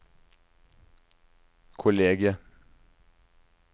kollegiet